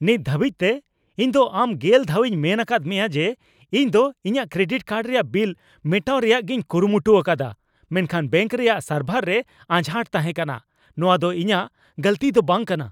ᱱᱤᱛ ᱫᱷᱟᱹᱵᱤᱡᱛᱮ ᱤᱧ ᱫᱚ ᱟᱢ ᱜᱮᱞ ᱫᱷᱟᱣᱤᱧ ᱢᱮᱱ ᱟᱠᱟᱫ ᱢᱮᱭᱟ ᱡᱮ ᱤᱧ ᱫᱚ ᱤᱧᱟᱜ ᱠᱨᱮᱰᱤᱴ ᱠᱟᱨᱰ ᱨᱮᱭᱟᱜ ᱵᱤᱞ ᱢᱮᱴᱟᱣ ᱨᱮᱭᱟᱜᱤᱧ ᱠᱩᱨᱩᱢᱩᱴᱩ ᱟᱠᱟᱫᱟ ᱢᱮᱱᱠᱷᱟᱱ ᱵᱮᱝᱠ ᱨᱮᱭᱟᱜ ᱥᱟᱨᱵᱷᱟᱨ ᱨᱮ ᱟᱡᱷᱟᱴ ᱛᱟᱦᱮᱠᱟᱱᱟ ᱾ ᱱᱚᱣᱟ ᱫᱚ ᱤᱧᱟᱜ ᱜᱟᱹᱞᱛᱤ ᱫᱚ ᱵᱟᱝ ᱠᱟᱱᱟ !